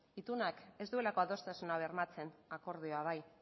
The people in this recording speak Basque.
itunak ez duelako adostasuna bermatzen akordioak bai